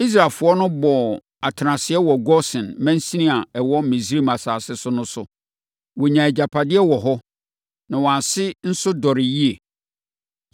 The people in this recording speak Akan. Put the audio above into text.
Israelfoɔ no bɔɔ atenaseɛ wɔ Gosen mansini a ɛwɔ Misraim asase so no so. Wɔnyaa agyapadeɛ wɔ hɔ, na wɔn ase nso dɔree yie.